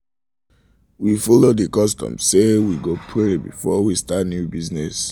we follow the custom say we custom say we go pray before we start new business